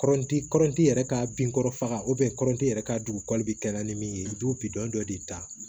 Kɔrɔti kɔrɔnti yɛrɛ ka bin kɔrɔ faga kɔrɔti yɛrɛ ka dugu bɛ kɛ na ni min ye dudɔn dɔ de ta